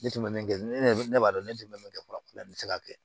Ne tun bɛ min kɛ ne b'a dɔn ne tun bɛ min kɛ farafin tɛ se ka kɛ